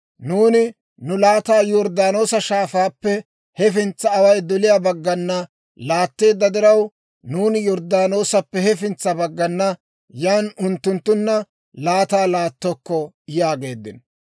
Nuuni nu laataa Yorddaanoosa Shaafaappe hafintsa away doliyaa baggana laatteedda diraw, nuuni Yorddaanoosappe hefintsa baggana, yan unttunttunna laataa laattokko» yaageeddino.